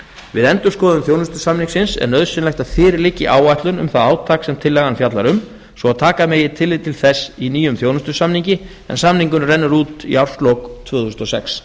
við endurskoðun þjónustusamningsins er nauðsynlegt að fyrir liggi áætlun um það átak sem tillagan fjallar um svo taka megi tillit til þess í nýjum þjónustusamningi en samningurinn rennur út í árslok tvö þúsund og sex